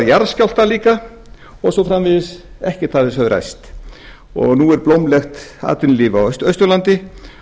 jarðskjálftar líka og svo framvegis ekkert af þessu hefur ræst nú er blómlegt atvinnulíf á austurlandi